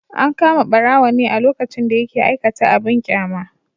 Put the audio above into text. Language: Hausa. An kama barawon ne a lokacin da yake aikata abin kyama.